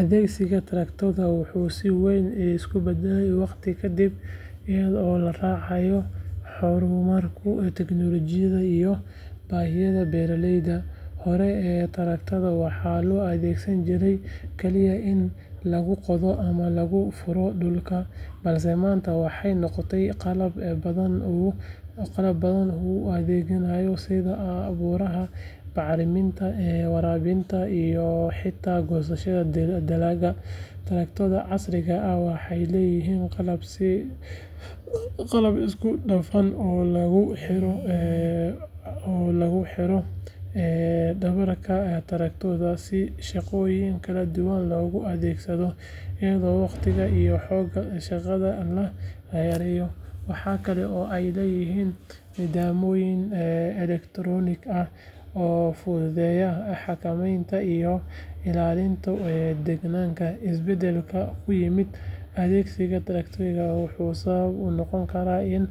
Adeegsiga taraktoorka wuxuu si weyn isu beddelay waqti ka dib iyadoo la raacayo horumarka tiknoolajiyadda iyo baahiyaha beeraleyda. Horey taraktoorada waxaa loo adeegsan jiray kaliya in lagu qodo ama lagu furo dhulka, balse maanta waxay noqdeen qalab badan u adeegaya sida abuurista, bacriminta, waraabinta, iyo xitaa goosashada dalagga. Taraktoorada casriga ah waxay leeyihiin qalab isku dhafan oo lagu xiro dhabarka taraktoorka si shaqooyin kala duwan loogu adeegsado iyadoo waqtiga iyo xoogga shaqada la yareeyo. Waxa kale oo ay leeyihiin nidaamyo elektaroonik ah oo fududeeya xakamaynta iyo ilaalinta deegaanka. Isbeddelka ku yimid adeegsiga taraktoorka wuxuu sabab u noqday in